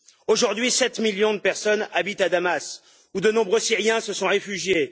Aujourd'hui, sept millions de personnes habitent à Damas, où de nombreux Syriens se sont réfugiés.